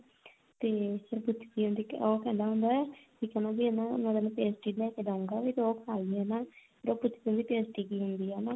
ਤੇ ਉਹ ਪੁੱਛਦੀ ਹੁੰਦੀ ਆ ਤੇ ਉਹ ਕਹਿੰਦਾ ਹੁੰਦਾ ਵੀ ਕਹਿੰਦਾ ਵੀ ਹਨਾ pastry ਲਿਆ ਕੇ ਦੂੰਗਾ ਵੀ ਤੂੰ ਉਹ ਖਾਲੀ ਹਨਾ ਫਿਰ ਉਹ ਪੁੱਛਦੀ ਹੁੰਦੀ ਆ ਵੀ pastry ਕੀ ਹੁੰਦੀ ਆ ਹਨਾ